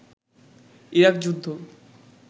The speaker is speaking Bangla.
ইরাক যুদ্ধ